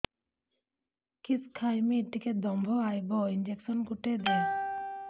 କିସ ଖାଇମି ଟିକେ ଦମ୍ଭ ଆଇବ ଇଞ୍ଜେକସନ ଗୁଟେ ଦେ